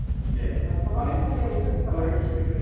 মানে একটু